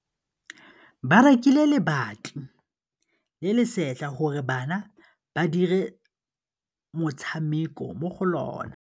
Ba rekile lebati le le setlha gore bana ba dire motshameko mo go lona.